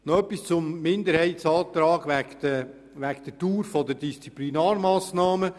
Noch etwas zum Minderheitsantrag in Zusammenhang mit der Dauer der Disziplinarmassnahmen: